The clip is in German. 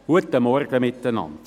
Guten Morgen miteinander.